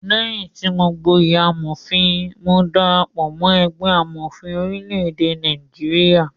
Léyìn tí mọ gboyè amòfin, mo darapọ̀ mọ́ ẹgbẹ́ amọ̀fin orílẹ̀-èdè Nigeria.